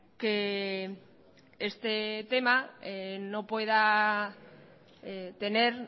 que este tema no pueda tener